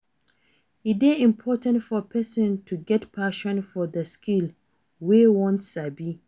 E de important for persin to get passion for the skill wey won sabi